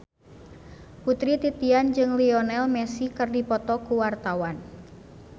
Putri Titian jeung Lionel Messi keur dipoto ku wartawan